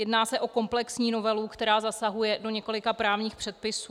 Jedná se o komplexní novelu, která zasahuje do několika právních předpisů.